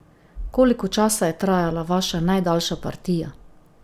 Koliko časa je trajala vaša najdaljša partija?